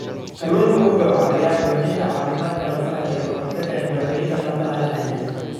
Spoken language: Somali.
Kalluunku wuxuu caawiyaa xoojinta caafimaadka lafaha iyo ka hortagga dhibaatooyinka lafaha la xiriira.